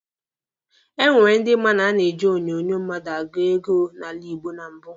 E nwere ndi ma na a na-eji onyonyo mmadụ agụ oge n'ala Igbo na mbụ.